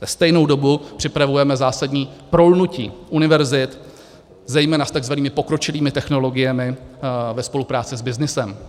Ve stejnou dobu připravujeme zásadní prolnutí univerzit zejména s takzvanými pokročilými technologiemi ve spolupráci s byznysem.